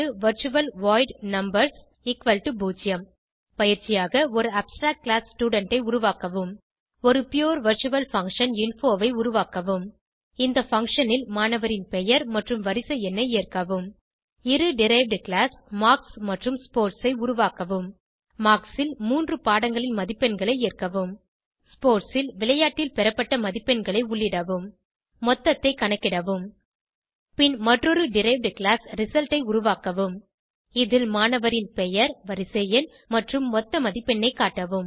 virtual void numbers0 பயிற்சியாக ஒரு abstract class student ஐ உருவாக்கவும் ஒரு புரே வர்ச்சுவல் பங்ஷன் இன்ஃபோ ஐ உருவாக்கவும் இந்த பங்ஷன் ல் மாணவரின் பெயர் மற்றும் வரிசை எண்ணை ஏற்கவும் இரு டெரைவ்ட் கிளாஸ் மார்க்ஸ் மற்றும் ஸ்போர்ட்ஸ் ஐ உருவாக்கவும் மார்க்ஸ் ல் மூன்று பாடங்களின் மதிப்பெண்களை ஏற்கவும் ஸ்போர்ட்ஸ் ல் விளையாட்டில் பெறப்பட்ட மதிப்பெண்களை உள்ளிடவும் மொத்தத்தை கணக்கிடவும் பின் மற்றொரு டெரைவ்ட் கிளாஸ் ரிசல்ட் ஐ உருவாக்கவும் இதில் மாணவரின் பெயர் வரிசை எண் மற்றும் மொத்த மதிப்பெண்ணை காட்டவும்